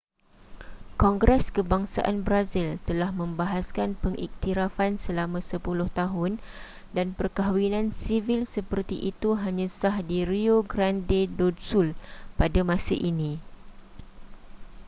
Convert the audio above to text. kongres kebangsaan brazil telah membahaskan pengiktirafan selama 10 tahun dan perkahwinan sivil seperti itu hanya sah di rio grande do sul pada masa ini